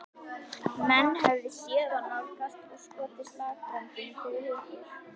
Menn höfðu séð þá nálgast og skotið slagbröndum fyrir hurðir.